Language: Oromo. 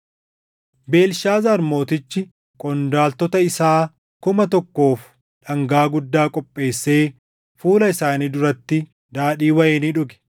Beelshaazaar mootichi qondaaltota isaa kuma tokkoof dhangaa guddaa qopheessee fuula isaanii duratti daadhii wayinii dhuge.